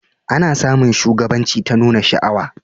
A na samun shugabanci ta nuna sha'awa